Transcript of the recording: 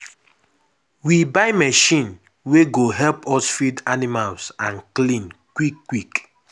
we buy machine wey go help us feed animals and clean quick quick.